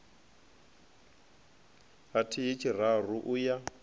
ha thihi tshararu u ya